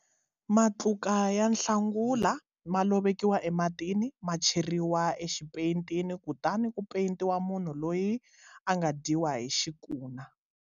Matluka ya nhlangula ma lovekiwa ematini, ma cheriwa exipeyitini kutani ku peyitiwa munhu loyi a nga dyiwa hi xikuna.